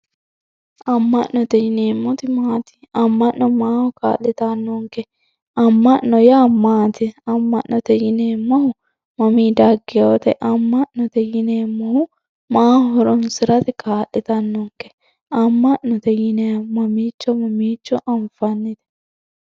amma'note yineemmoti maati amma'no maaho kaa'litannonke amma'note yaa maati amma'note yineemmohu mammi daggewoote amma'note yineemmohu maaho horoonsirate kaa'litannonke amma'note yineemmohu mamiicho mamiicho anfanni.